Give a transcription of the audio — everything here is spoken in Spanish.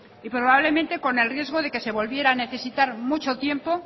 y probablemente con el riesgo de que se volviera a necesitar mucho tiempo